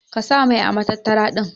Ka sa mai ã matattara din.